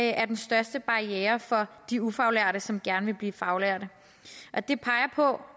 er den største barriere for de ufaglærte som gerne vil blive faglærte og det peger på